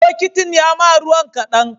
Bokitin yama ruwan kadan